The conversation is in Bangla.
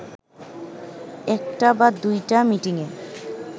একটা বা দুইটা মিটিংয়ে